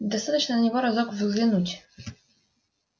достаточно на него разок взглянуть